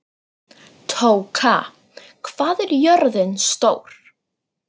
Tóka, hvað er jörðin stór?